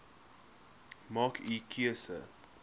maak u keuse